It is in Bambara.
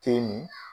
Te min